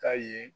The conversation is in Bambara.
Ka ye